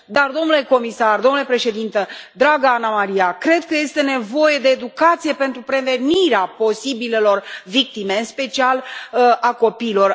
Dar, domnule comisar, domnule Președinte, dragă Anna Maria, cred că este nevoie de educație pentru prevenirea posibilelor victime, în special a copiilor.